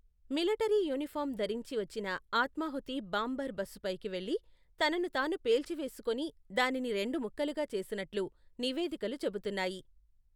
Military uniform ధరించి వచ్చిన ఆత్మాహుతి బాంబర్ బస్సుపైకి వెళ్లి, తనను తాను పేల్చివేసుకుని దానిని రెండు ముక్కలుగా చేసినట్లు నివేదికలు చెబుతున్నాయి.